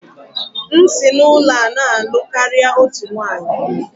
M si n'ụlọ a na-alụ karịa otu nwanyị